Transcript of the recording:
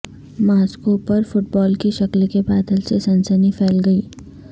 Moscow پر football کی شکل کے بادل سے سنسنی پھیل گئی